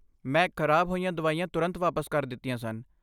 ਮੈਂ ਖ਼ਰਾਬ ਹੋਈਆਂ ਦਵਾਈਆਂ ਤੁਰੰਤ ਵਾਪਸ ਕਰ ਦਿੱਤੀਆਂ ਸਨ।